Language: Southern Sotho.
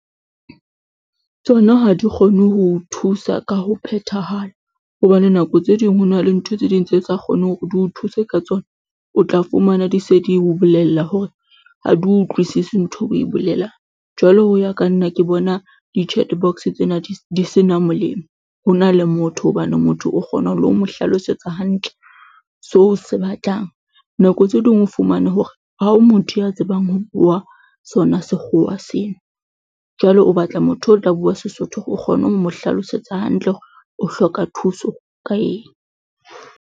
Tsona ha di kgone ho o thusa ka ho phethahala hobane nako tse ding ho na le ntho tse ding tse sa kgonang hore di o thuse ka tsona, o tla fumana di se di o bolella hore ha di utlwisise ntho o e bolelang, jwala ho ya ka nna ke bona di-chat box tsena di sena molemo ho na le motho hobane motho o kgona lehlo mo hlalosetsa hantle seo o se batlang. Nako tse ding o fumane hore hore ha o motho ya tsebang ho bua sona Sekgowa seno jwale o batla motho o tla bua Sesotho hore o kgone ho mo hlalosetsa hantle hore o hloka thuso ka eng.